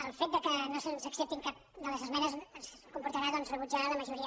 el fet que no se’ns accepti cap de les esmenes ens comportarà doncs rebutjar la majoria